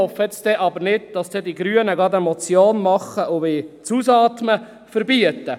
Ich hoffe aber, dass die Grünen nicht gleich eine Motion machen, um das Ausatmen zu verbieten.